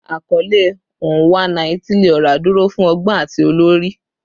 Akọle "Onwa-na-etili-ora" duro fun ọgbọn ati olori